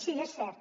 sí és cert